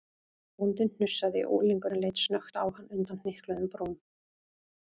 Bóndinn hnussaði og unglingurinn leit snöggt á hann undan hnykluðum brúm.